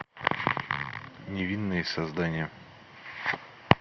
невинные создания